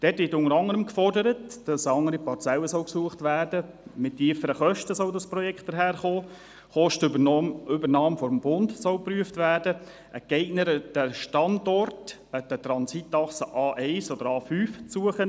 Damit wird unter anderem gefordert, es solle eine andere Parzelle gesucht werden, das Projekt solle tiefere Kosten aufweisen, es sei eine Kostenübernahme durch den Bund zu prüfen und es sei ein geeigneterer Standort an der Transitachse A1 und A5 zu suchen.